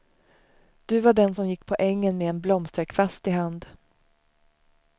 Du var den som gick på ängen med en blomsterkvast i hand.